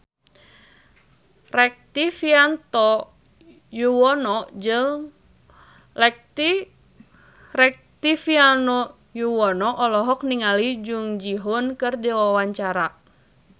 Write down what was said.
Rektivianto Yoewono olohok ningali Jung Ji Hoon keur diwawancara